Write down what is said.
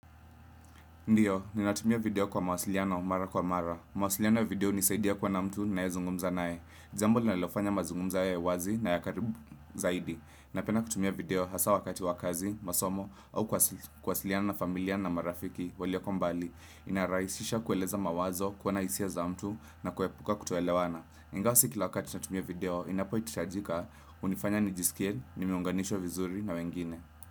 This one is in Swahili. Ndiyo, ninatumia video kwa mawasiliano mara kwa mara. Mawasiliano video hunisaidia kuwa na mtu ninayezungumza naye. Jambo linalofanya mazungumza yawe wazi na ya karibu zaidi. Napenda kutumia video hasaa wakati wa kazi, masomo, au kuwasiliana na familia na marafiki walioko mbali. Inarahisisha kueleza mawazo, kuona hisia za mtu, na kuepuka kutoelewana. Ingawa si kila wakati natumia video, inapohitajika hunifanya nijisikie nimeunganishwa vizuri na wengine.